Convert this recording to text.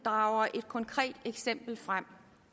drager et konkret eksempel frem